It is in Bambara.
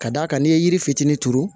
Ka d'a kan n'i ye yiri fitinin turu